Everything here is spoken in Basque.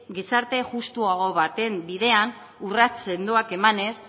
gizarte justuago baten bidean urrats sendoak emanez